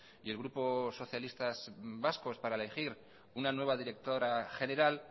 y el grupo socialistas vascos para elegir una nueva directora general